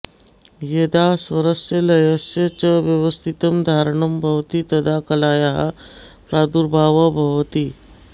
यदा स्वरस्य लयस्य च व्यवस्थितं धारणं भवति तदा कलायाः प्रादुर्भावः भवति